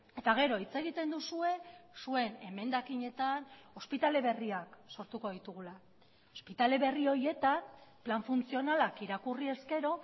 eta gero hitz egiten duzue zuen emendakinetan ospitale berriak sortuko ditugula ospitale berri horietan plan funtzionalak irakurri ezkero